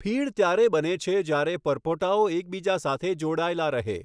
ફીણ ત્યારે બને છે જ્યારે પરપોટાઓ એકબીજા સાથે જોડાયેલા રહે.